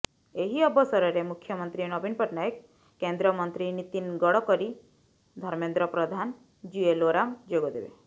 ଏହି ଅବସରରେ ମୁଖ୍ୟମନ୍ତ୍ରୀ ନବୀନ ପଟ୍ଟନାୟକ କେନ୍ଦ୍ରମନ୍ତ୍ରୀ ନିତିନ ଗଡକରୀ ଧର୍ମେନ୍ଦ୍ର ପ୍ରଧାନ ଜୁଏଲ ଓରାମ ଯୋଗ ଦେବେ